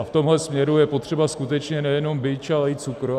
A v tomhle směru je potřeba skutečně nejenom bič, ale i cukr.